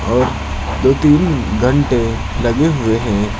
और दो तीन घंटे लगे हुए हैं।